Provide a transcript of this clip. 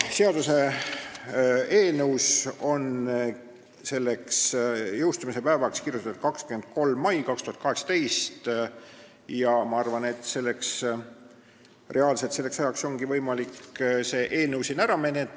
Seaduseelnõus on seaduse jõustumise päevaks kirjutatud 23. mai 2018 ja ma arvan, et selleks ajaks ongi võimalik see eelnõu siin ära menetleda.